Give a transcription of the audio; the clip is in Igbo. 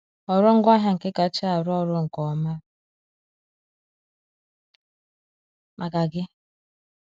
Họrọ ngwaahịa nke kacha arụ ọrụ nke ọma maka gị.